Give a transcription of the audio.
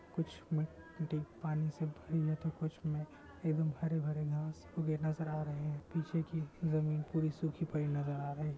कुछ में मिट्टी पानी से भरी है तो कुछ में एवं हरे-भरे घास उगे नज़र आ रहे है पीछे की ज़मींन पूरी सुखी पड़ी नज़र आ रही--